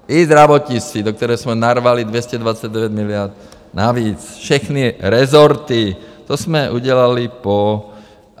I zdravotnictví, do které jsme narvali 229 miliard navíc, všechny resorty, to jsme udělali po...